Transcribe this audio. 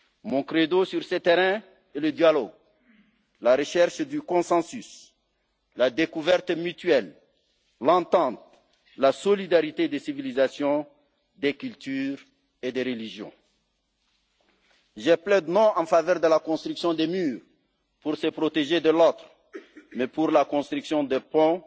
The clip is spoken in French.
Mon credo sur ce terrain est le dialogue, la recherche du consensus, la découverte mutuelle, l'entente, la solidarité des civilisations, des cultures et des religions. Je plaide non en faveur de la construction de murs pour se protéger de l'Autre mais pour la construction